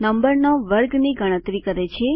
નંબરનો વર્ગની ગણતરી કરે છે